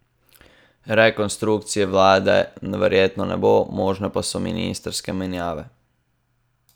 Rekonstrukcije vlade verjetno ne bo, možne pa so ministrske menjave.